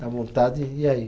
Dá vontade, e aí?